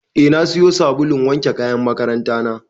Eh na siyo sabulun wanke kayan makaranta na.